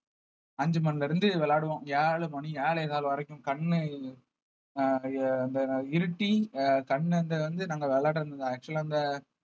அஞ்சு மணில இருந்து விளையாடுவோம் ஏழு மணி ஏழே கால் வரைக்கும் கண்ணு அஹ் அந்த இருட்டி அஹ் கண்ணு இந்த வந்து நாங்க விளையாடுனது actual ஆ அந்த